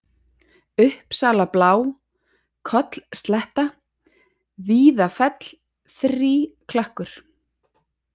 Uppsalablá, Kollslétta, Víðafell, Þríklakkur